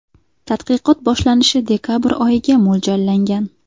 Tadqiqot boshlanishi dekabr oyiga mo‘ljallangan.